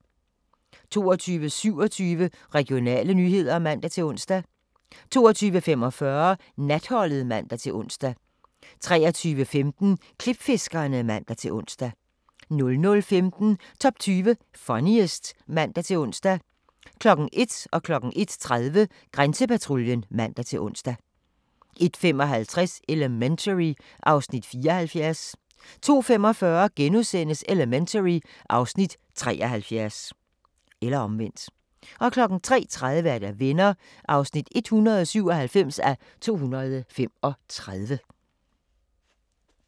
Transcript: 22:27: Regionale nyheder (man-ons) 22:45: Natholdet (man-ons) 23:15: Klipfiskerne (man-ons) 00:15: Top 20 Funniest (man-ons) 01:00: Grænsepatruljen (man-ons) 01:30: Grænsepatruljen (man-ons) 01:55: Elementary (Afs. 74) 02:45: Elementary (Afs. 73)* 03:30: Venner (197:235)